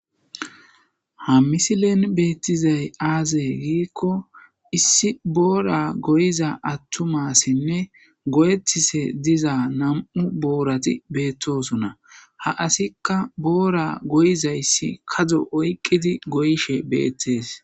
Ha misilen beettizay aazey giikko issi boora goyiza attuma assinne goyettishshe diza nam'u boorati beettosossona ha asattikka boora goyizayssi kadzdzo oyqqidi goyshshe beettees